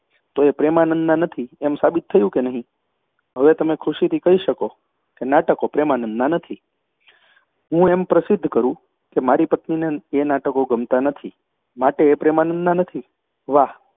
તો એ પ્રેમાનંદનાં નથી એમ સાબિત થયું કે નહીં? હવે તમે ખુશીથી કહી શકો કે નાટકો પ્રેમાનંદનાં નથી હું એમ પ્રસિદ્ધ કરું કે મારી પત્નીને એ નાટકો ગમતાં નથી માટે એ પ્રેમાનંદનાં નથી? વાહ